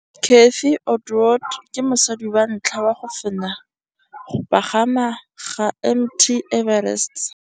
Cathy Odowd ke mosadi wa ntlha wa go fenya go pagama ga Mt Everest.